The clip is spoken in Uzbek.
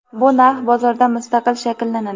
bu narx bozorda mustaqil shakllanadi.